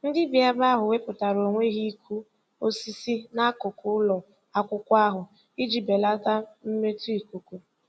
Ndị bi ebe ahụ wepụtara onwe ha ịkụ osisi n'akụkụ ụlọ akwụkwọ ahụ iji belata mmetọ ikuku.